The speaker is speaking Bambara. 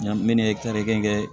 Minnu ye tari kelen kɛ